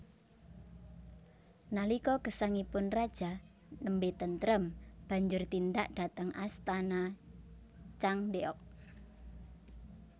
Nalika gesangipun raja nembé tentrem banjur tindak dhateng Astana Changdeok